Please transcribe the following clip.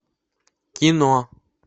кино